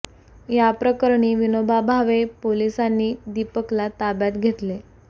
या प्रकरणी विनोबा भावे पोलिसांनी दीपकला ताब्यात घेतले